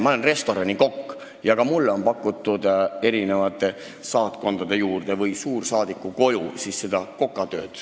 Ma olen olnud restoranikokk ja ka mulle on pakutud kokatööd saatkondade juures või suursaadiku kodus.